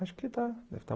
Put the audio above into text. Acho que está está.